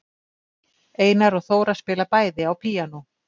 Einar og Þóra spila bæði á píanó.